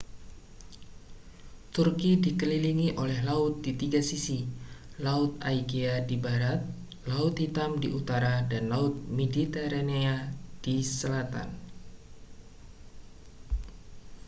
turki dikelilingi oleh laut di tiga sisi laut aegea di barat laut hitam di utara dan laut mediterania di selatan